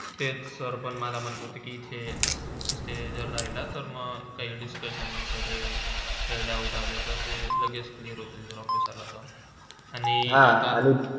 ते sir पण मला म्हणले होते कि, इथे असला इथे जर राहिला तर मंग काय discussion काय - काय doubt आलेतर लगेच clear होतील office आलात आणि कसा.